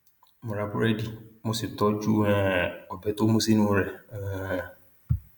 mo ra búrẹdì mo sì tọjú um ọbẹ tó mú sínú rẹ um